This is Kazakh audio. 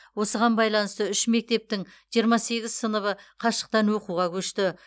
осыған байланысты үш мектептің жиырма сегіз сыныбы қашықтан оқуға көшті